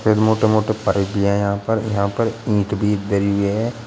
मोटे मोटे भी हैं यहां पर यहां पर ईंट भी धरी है।